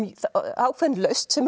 ákveðin lausn sem